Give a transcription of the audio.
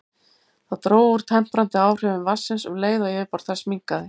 Það dró úr temprandi áhrifum vatnsins um leið og yfirborð þess minnkaði.